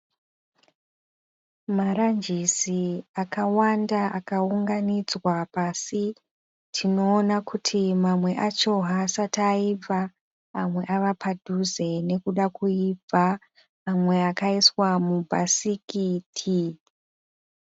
Marangisi akawanda akaunganidzwa pasi, tinoona kuti mamwe acho haasati aibva amwe ave padhuze kuibva mamwe akaiswa mubhasikiti .